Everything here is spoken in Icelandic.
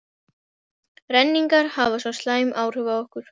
renningar hafa svo slæm áhrif á okkur.